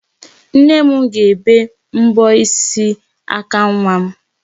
Nne m ga-ebe mbọ aka nwa m.